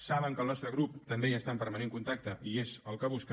saben que el nostre grup també hi està en permanent contacte i és el que busca